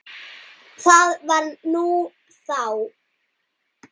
Það var nú þá.